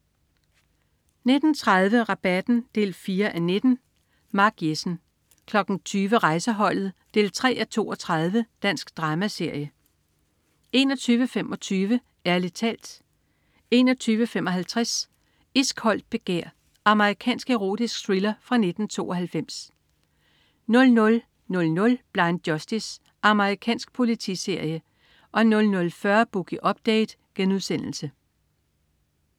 19.30 Rabatten 4:19. Mark Jessen 20.00 Rejseholdet 3:32. Dansk dramaserie 21.25 Ærlig talt 21.55 Iskoldt begær. Amerikansk erotisk thriller fra 1992 00.00 Blind Justice. Amerikansk politiserie 00.40 Boogie Update*